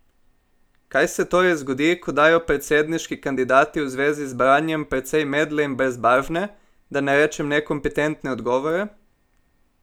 Kaj se torej zgodi, ko dajo predsedniški kandidati v zvezi z branjem precej medle in brezbarvne, da ne rečem nekompetentne odgovore?